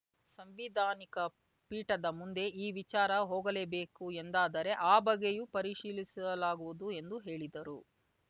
ಸಂವಿಧಾನಿಕ ಪೀಠದ ಮುಂದೆ ಈ ವಿಚಾರ ಹೋಗಲೇಬೇಕು ಎಂದಾದರೆ ಆ ಬಗ್ಗೆಯೂ ಪರಿಶೀಲಿಸಲಾಗುವುದು ಎಂದು ಹೇಳಿದರು